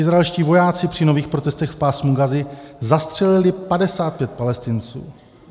Izraelští vojáci při nových protestech v Pásmu Gazy zastřelili 55 Palestinců.